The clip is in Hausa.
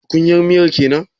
Tukunyar miyar kenan?